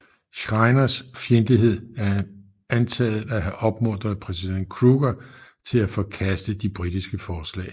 Schreiners fjendtlighed er antaget at have opmuntret præsident Kruger til at forkaste de britiske forslag